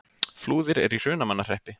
Flúðir er í Hrunamannahreppi.